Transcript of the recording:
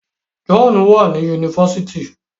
John wá ní Yunifásitì.